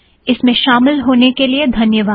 इसमें शामिल होने के लिए धन्यवाद